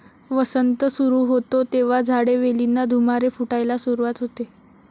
वसंत सुरू होतो, तेव्हा झाडे, वेलींना धुमारे फुटायला सुरुवात होते.